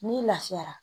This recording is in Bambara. N'i lafiyara